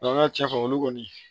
an ka cɛfa olu kɔni